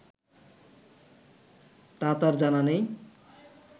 তা তার জানা নেই